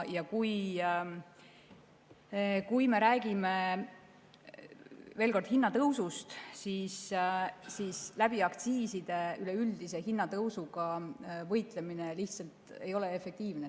Ja kui me räägime veel kord hinnatõusust, siis aktsiiside kaudu üleüldise hinnatõusuga võitlemine lihtsalt ei ole efektiivne.